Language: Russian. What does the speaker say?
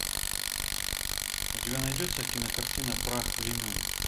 у тебя найдется кинокартина прах времен